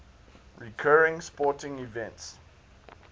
recurring sporting events